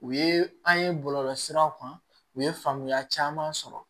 U ye an ye bɔlɔlɔ siraw kan u ye faamuya caman sɔrɔ